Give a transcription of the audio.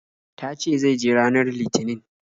Ta ce zai je ranar Litinin.